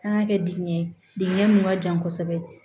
An y'a kɛ digiɲɛ ye digɛn min ka jan kosɛbɛ